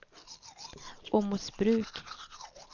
Åmotsbruk